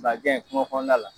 Ba gɛn , kugo kɔnɔna la.